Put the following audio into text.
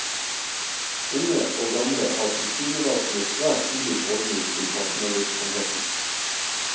Unge og gamle har tilsynelatende svært ulik holdning til havnevirksomheten.